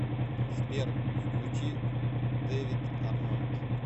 сбер включи дэвид арнольд